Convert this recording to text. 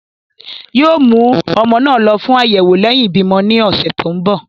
yoo mú ọmọ náà lọ fún ayẹwo lẹhin ibimọ ní ọsẹ tí nbọ.